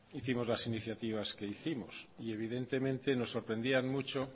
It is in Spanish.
hicimos las iniciativas que hicimos y evidentemente nos sorprendían mucho